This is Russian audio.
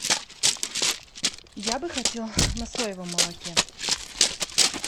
я бы хотел на соевом молоке